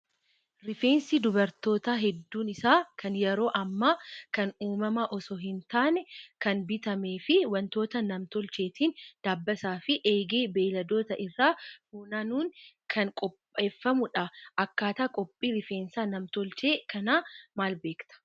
Rifeensi dubarootaa hedduun isaa kan yeroo ammaa kan uumamaa osoo hin taane kan bitamee fi wantoota nam-tolcheetiin dabbasaa fi eegee beeyladootaa irraa funaanuun kan qopheeffamudha. Akkaataa qophii rifeensa nam-tolchee kanaa maal beektaa?